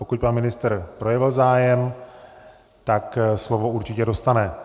Pokud pan ministr projevil zájem, tak slovo určitě dostane.